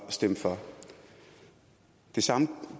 at stemme for det samme